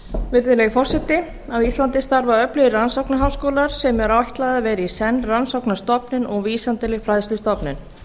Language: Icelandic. virðulegi forseti á íslandi starfa öflugir rannsóknarháskólar sem er ætlað að vera í senn rannsóknarstofnun og vísindaleg fræðslustofnun